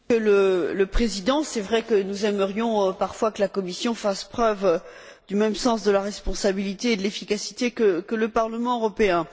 Monsieur le Président, il est vrai que nous aimerions parfois que la Commission fasse preuve du même sens de la responsabilité et de l'efficacité que le Parlement européen.